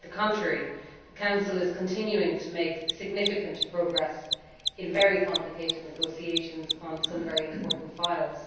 Quite the contrary the Council is continuing to make significant progress in very complicated negotiations on some very important files.